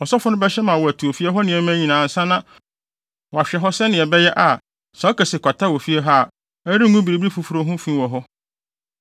Ɔsɔfo no bɛhyɛ ama wɔatu ofie hɔ nneɛma nyinaa ansa na wahwɛ hɔ sɛnea ɛbɛyɛ a, sɛ ɔka se kwata wɔ fie hɔ a, ɛrengu biribi foforo ho fi wɔ hɔ.